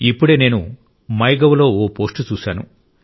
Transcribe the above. ఇప్పుడే నేను మైగవ్లో ఒక పోస్ట్ చూశాను